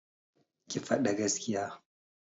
Ki fada gaskiya!